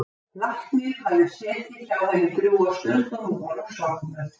Læknir hafði setið hjá henni drjúga stund og nú var hún sofnuð.